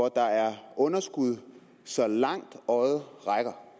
er underskud så langt øjet rækker